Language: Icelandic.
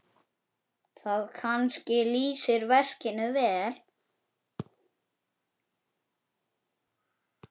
Það kannski lýsir verkinu vel.